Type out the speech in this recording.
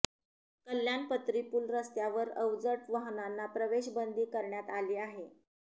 कल्याण पत्रीपूल रस्त्यावर अवजड वाहनांना प्रवेश बंदी करण्यात आली आहे